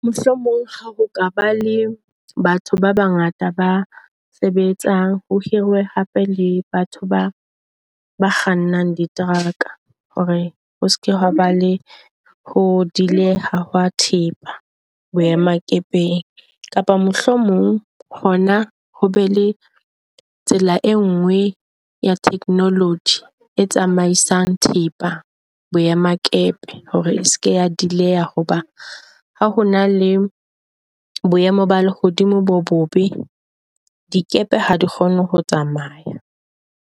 Mohlomong ha ho ka ba le batho ba bangata ba sebetsang ho hiriwe hape le batho ba ba kgannang diteraka hore ho seke hoa ba le ho delay-aha ha thepa boemakepeng. Kapa mohlomong ho be le tsela e nngwe ya technology e tsamaisang thepa boemakepe hore eseke ya delay. Hoba ha ho na le boemo ba lehodimo bo bobe, dikepe ha di kgone ho tsamaya.